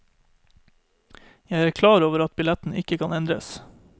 Jeg er klar over at billetten ikke kan endres.